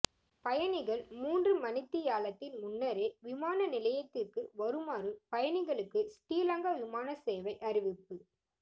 பயணிகள் மூன்று மணித்தியாலத்தின் முன்னரே விமானநிலையத்திற்கு வருமாறு பயணிகளுக்கு ஸ்ரீலங்கா விமானசேவை அறிவிப்பு